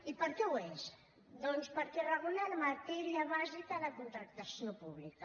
i per què ho és doncs perquè regula matèria bàsica de contractació pública